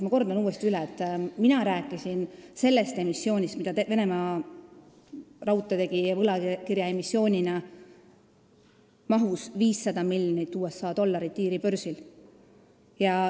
Ma kordan uuesti: mina rääkisin sellest emissioonist, mida Venemaa Raudteed tegi võlakirjaemissioonina mahus 500 miljonit USA dollarit Iiri börsil.